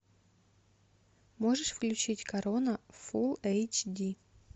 можешь включить корона фул эйч ди